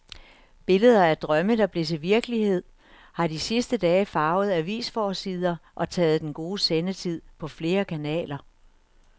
Billeder af drømme, der blev til virkelighed, har de sidste dage farvet avisforsider og taget den gode sendetid på flere kanaler.